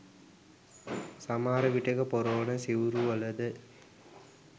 සමහර විටෙක පොරවන සිවුරුවලද